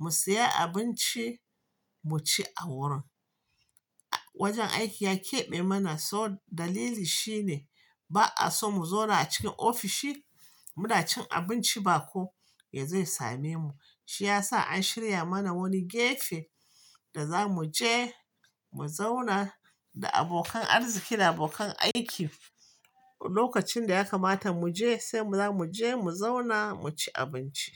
mu siya abinci, mu ci a wurin. Wajen aiki ya keɓe mana so dalili shi ne ba a so mu zauna a cikin ofishi, mu na cin abinci bako ya zo ya same mu. Shiyasa an shirya mana wani gefe da za mu je, mu zauna da abokan arziki da abokan aiki. Lokacin da ya kamata mu je, sai mu za mu je, mu zauna, mu ci abinci.